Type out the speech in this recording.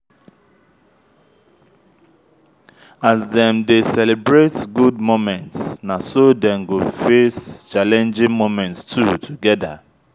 as them de celebrate good moments na so dem go face challenging moments too together